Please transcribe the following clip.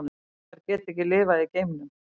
Fiskar geta ekki lifað í geimnum.